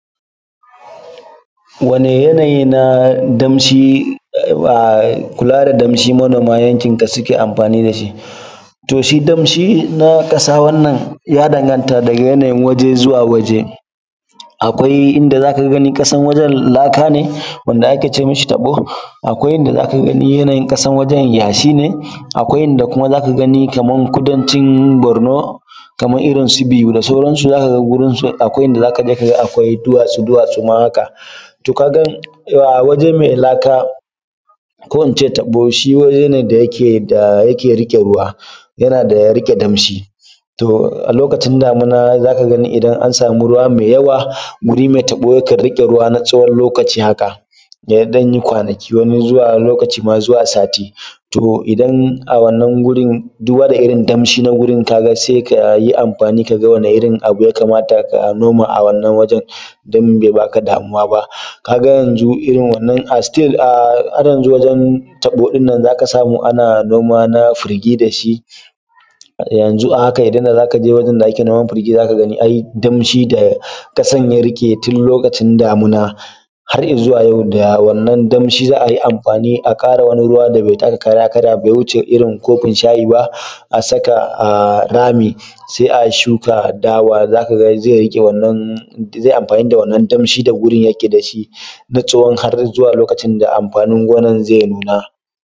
Wanne yanayi na damshi um kula da damshi manoma a yankinka suke amfani da shi. to shi damshi na kasa wannan ya danganta daga yanayin kasa daga wannan waje zuwa wannan waje, akwai inda za ka gani ƙasar wajen laka ne wanda ake ce mi shi taɓo akwai inda za ka gani yanayin ƙasar wajen yashi ne akwai idan kuma za ka gani kamar kudancin barno kamar irin su biu da sauransu zaka wurin su akwai inda za ka je kaga akwai duwatsu -duwatsu ma to kaga a waje mai laka ko in ce taɓo., Shi waje ne da yake da yake rike ruwa yana da riƙe damshi. to a lokacin damina zaka gani idan an samu ruwa mai yawa wuri mai tabo yakan rike ruwa na tsawon lokaci haka ya dan yi kwanaki wani zuwa lokaci ma har zuwa sati to idan a wannan wurin duba da irin damshi na wurin kaga sai ka yi amfani ka ga wani irin abu ya kamata ka noma a wannan wujen don be ba ka damuwa ba. Ka ga yanzu irin wannan um still har yanzu wajen taɓo din nan za ka samu ana noma na firgi da shi, yanzu a haka idan za ka je wajen da ake noman firgi zaka gani ai damshi da ƙasar ya rike tun lokacin damina har izuwa yau da wannan damshi za a yi amfani a kara wani ruwa da bai taka kara ya karya ba da bai wuce irin kofin shayi ba asaka a rami sai a shuka dawa zaka ga zai rike wannan zai amfani da wannan damshi da wurin yake da shi na tsawo har zuwa lokacin da amfanin gonan zai nuna.